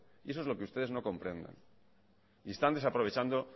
eso es lo que ustedes no comprenden y están desaprovechando